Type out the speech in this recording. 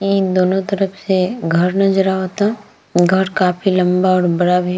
ई दोनों तरफ से घर नज़र आवता घर काफ़ी लंबा और बड़ा भी --